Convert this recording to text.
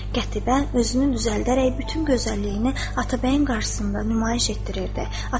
Qətibə özünü düzəldərək bütün gözəlliyini Atabəyin qarşısında nümayiş etdirirdi.